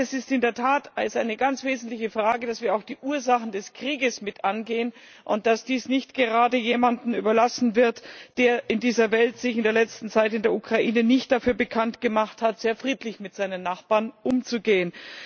Zweitens In der Tat ist eine ganz wesentliche Frage, dass wir auch die Ursachen des Krieges mit angehen und dass dies nicht gerade jemandem überlassen wird, der sich in dieser Welt in der letzten Zeit in der Ukraine keinen Namen dafür gemacht hat, sehr friedlich mit seinen Nachbarn umzugehen.